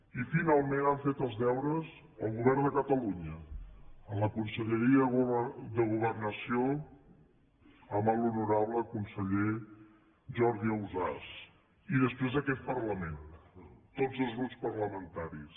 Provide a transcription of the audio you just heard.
i finalment han fet els deures el govern de catalunya la conselleria de governació amb l’honorable conseller jordi ausàs i després aquest parlament tots els grups parlamentaris